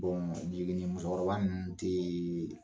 jiginnimusokɔrɔba ninnu tɛ